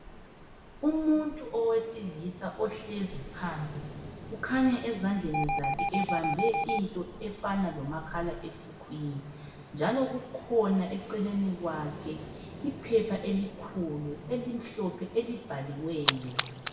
Umuntu owesilisa uhlezi phansi kukhanya ezandleni zakhe ebambe into efana lomakhalekhukhwini njalo kukhona eceleni kwakhe iphepha elikhulu elimhlophe elibhaliweyo.